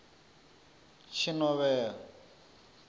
tshinovhea